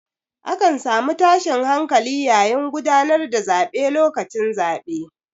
A kan samu tashin hankali yayin gudanar da zaɓe lokacin zaɓe.